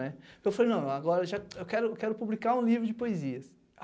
né. Eu falei, não, agora eu quero publicar um livro de poesias.